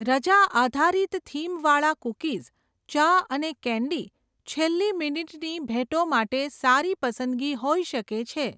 રજા આધારિત થીમ વાળા કૂકીઝ, ચા અને કેન્ડી છેલ્લી મિનિટની ભેટો માટે સારી પસંદગી હોઈ શકે છે.